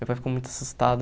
Meu pai ficou muito assustado.